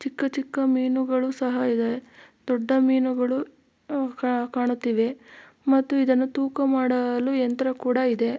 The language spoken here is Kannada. ಚಿಕ್ಕ ಚಿಕ್ಕ ಮೀನುಗಳು ಸಹ ಇದೆ ದೊಡ್ಡ ಮೀನುಗಳು ಕಾಣುತ್ತಿವೆ ಮತ್ತು ಇದನ್ನು ತೂಕ ಮಾಡಲು ಯಂತ್ರ ಕೂಡ ಇದೆ.